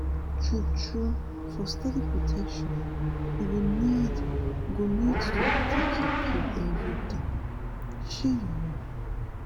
true-true for steady protection you go need go need to dey take your pill everyday. shey you know?